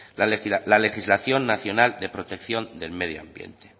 la legislación nacional de protección del medio ambiente